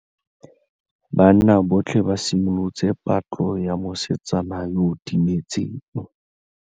Banna botlhê ba simolotse patlô ya mosetsana yo o timetseng.